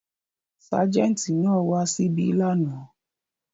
Ságẹ́ńtì náà wà ṣíbí lánàá.